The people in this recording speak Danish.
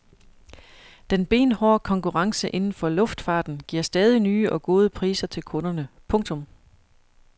Den benhårde konkurrence inden for luftfarten giver stadig nye og gode priser til kunderne. punktum